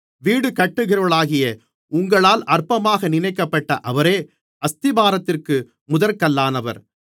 வீடுகட்டுகிறவர்களாகிய உங்களால் அற்பமாக நினைக்கப்பட்ட அவரே அஸ்திபாரத்திற்கு முதற்கல்லானவர்